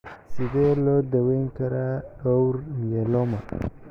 Sidee loo daweyn karaa dhowr myeloma?